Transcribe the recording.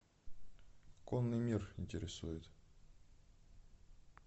конный мир интересует